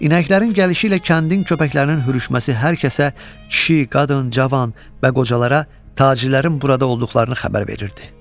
İnəklərin gəlişi ilə kəndin köpəklərinin hürüşməsi hər kəsə, kişi, qadın, cavan və qocalara tacirlərin burada olduqlarını xəbər verirdi.